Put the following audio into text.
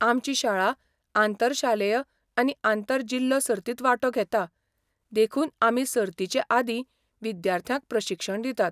आमची शाळा आंतर शालेय आनी आंतर जिल्लो सर्तींत वांटो घेता, देखून आमी सर्तींचेआदीं विद्यार्थ्यांक प्रशिक्षण दितात.